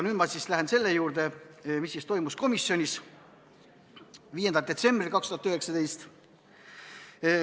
Nüüd ma lähen selle juurde, mis toimus komisjoni istungil 5. detsembril 2019.